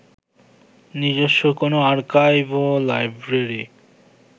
নিজস্ব কোন আর্কাইভ ও লাইব্রেরি